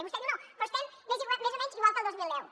i vostè diu no però estem més o menys igual que el dos mil deu